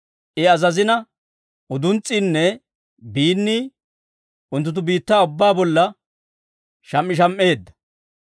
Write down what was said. I azazina, uduns's'iinne biinnii unttunttu biittaa ubbaa bolla sham"isham"eedda.